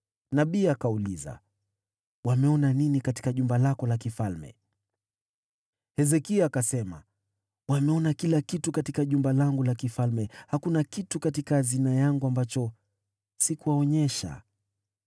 Nabii akauliza, “Waliona nini katika jumba lako la kifalme?” Hezekia akajibu, “Waliona kila kitu katika jumba langu la kifalme. Hakuna kitu chochote katika hazina yangu ambacho sikuwaonyesha.”